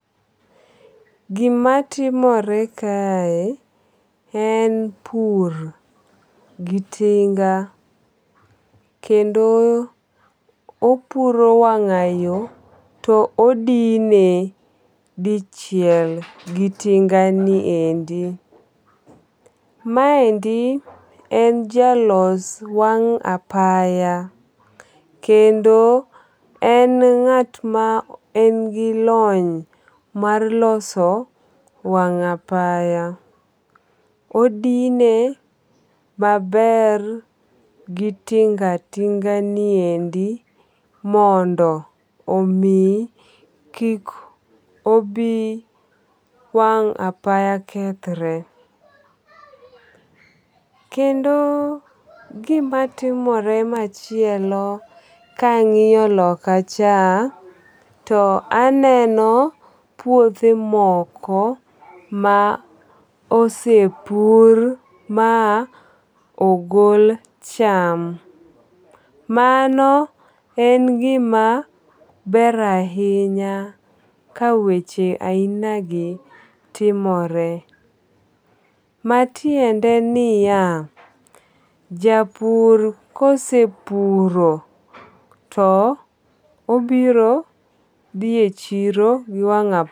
Gimatimore kae en pur, gi tinga kendo opuro wang'ayo to odine dichiel gi tingani endi. maendi en jalos wang' apay kendo en ng'at ma en gi lony mar loso wang' apaya, odine maber gi tinga tinga ni endi mondo omi kik obi wang' apaya kethre. Kendo gimatimore machielo kang'iyo lokacha taneno puoth moko ma osepur ma ogol cham, mano en gima ber ahinya ka weche aina gi timore, matiende niya, japur kosepuro to obiro dhi e chiro gi wang' apaya